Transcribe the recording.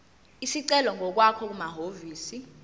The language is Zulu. isicelo ngokwakho kumahhovisi